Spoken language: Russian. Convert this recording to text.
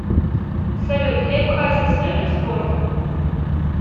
салют лев хасис любит спорт